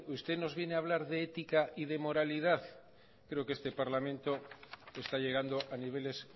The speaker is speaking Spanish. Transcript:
usted nos viene a hablar de ética y de moralidad creo que este parlamento está llegando a niveles